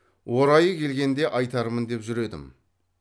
орайы келгенде айтармын деп жүр едім